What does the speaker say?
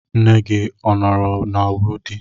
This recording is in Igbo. Nne gị ọ nọrọ na Wudil?